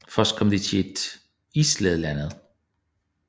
Først kom de til et islagt land